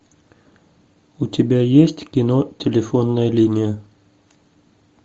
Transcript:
у тебя есть кино телефонная линия